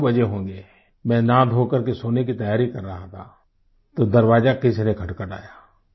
करीब 2 बजे होंगें मैं नहाधोकर के सोने की तैयारी कर रहा था तो दरवाजा किसी ने खटखटाया